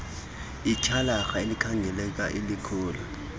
ityhalarha likhangeleka lilikhulu